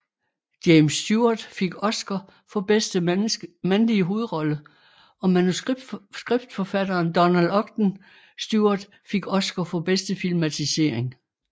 James Stewart fik Oscar for bedste mandlige hovedrolle og manuskriptforfatteren Donald Ogden Stewart fik Oscar for bedste filmatisering